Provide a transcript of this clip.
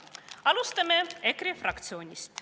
Alustame EKRE fraktsioonist.